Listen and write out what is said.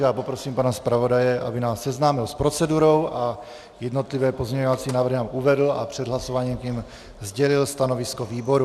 Já poprosím pana zpravodaje, aby nás seznámil s procedurou a jednotlivé pozměňovací návrhy nám uvedl a před hlasováním k nim sdělil stanovisko výboru.